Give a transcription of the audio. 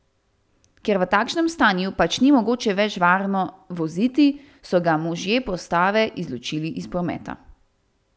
Ker v takšnem stanju pač ni mogoče več varno voziti, so ga možje postave izločili iz prometa.